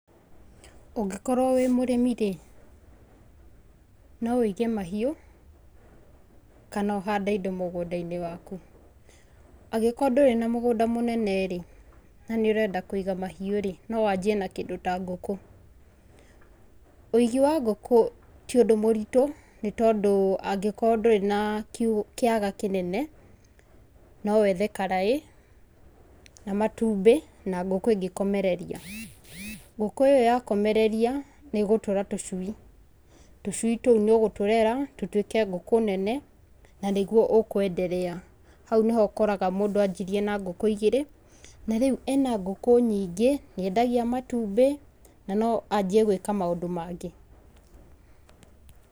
Ũngĩkorwo wĩ mũrĩmi rĩ, no wĩige mahiũ, kana ũhande indo mũgũndainĩ waku. Angĩkorwo ndũrĩ na mũgũnda mũnene rĩ, na nĩ ũrenda kũiga mahiũ rĩ, no wanjie na kĩndũ ta ngũkũ. Wĩigi wa ngũkũ ti ũndũ mũritũ, nĩtondũ angĩkorwo ndũrĩ na kiugũ kĩaga kĩnene, no wethe karaĩ, na matumbĩ, na ngũkũ ingĩkomereria. Ngũkũ ĩyo yakomereria, nĩgũtũra tũcui, tũcui tũu nĩ ũgũtũrera, tutuĩke ngũkũ nene, nanĩguo ũkwenderea, hau nĩho ũkoraga mũndũ anjirie na ngũkũ igĩrĩ, na rĩu ena ngũkũ nyi ngĩ, nĩendagiĩ matumbĩ, na no ajie gwĩka maũndũ mangĩ.